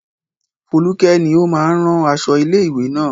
Foluke ni ó máa ń rán aṣọ ilé-ìwé náà.